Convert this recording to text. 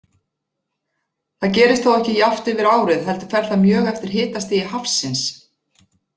Það gerist þó ekki jafnt yfir árið heldur fer það mjög eftir hitastigi hafsins.